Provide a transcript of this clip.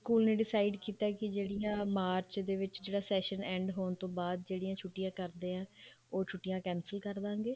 school ਨੇ decide ਕੀਤਾ ਕੇ ਜਿਹੜਾ ਮਾਰਚ ਦੇ ਵਿੱਚ session end ਹੋਣ ਤੋਂ ਬਾਅਦ ਜਿਹੜੀਆਂ ਛੁੱਟੀਆਂ ਕਰਦੇ ਆ ਉਹ ਛੁੱਟੀਆਂ cancel ਕਰ ਦਵਾਂਗੇ